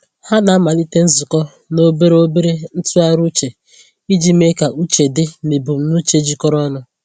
Ha na-amalite nzukọ na obere obere ntụgharị uche iji mee ka uche dị na ebumnuche jikọrọ ọnụ.